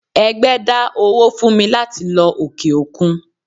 ẹgbẹ dá owó fún mí latí lọ ọke-okún